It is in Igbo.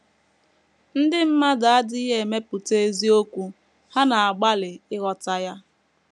Ndị mmadụ adịghị emepụta eziokwu; ha na - agbalị ịghọta ya.